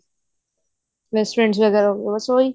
best friend ਵਗੇਰਾ ਬਸ ਉਹੀ